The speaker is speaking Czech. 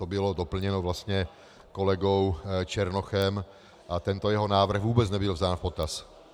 To bylo doplněno vlastně kolegou Černochem a tento jeho návrh vůbec nebyl vzat v potaz.